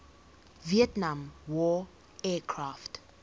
vietnam war aircraft